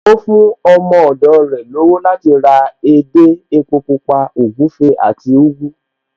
Ó fún ọmọ ọ̀dọ̀ rẹ̀ lọ́wọ́ láti ra edé, epo Pupa, ògúfe àti ugu